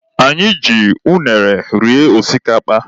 Anyị ji unere rie osikapa.